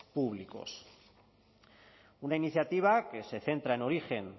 públicos una iniciativa que se centra en origen